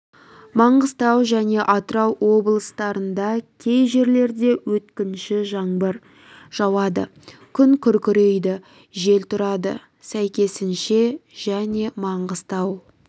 маңғыстау және атырау облыстарында кей жерлерде өткінші жаңбыр жауады күн күркірейді жел тұрады сәйкесінше және маңғыстау